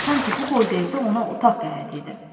Sanki bu boyda evdə ona otaq qəhəti idi.